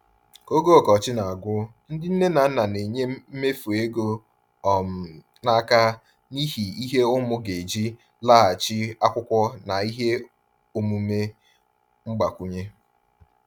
Ka oge ọkọchị na-agwụ, ndị nne na nna na-enye mmefu ego um n’aka n’ihi ihe ụmụ ga-eji laghachi akwụkwọ na ihe omume mgbakwunye.